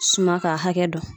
Suma ka hakɛ dɔn.